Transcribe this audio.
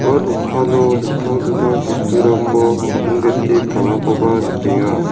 ua dokano dingtang dingtang bosturangko kadingdete palakoba nikenga.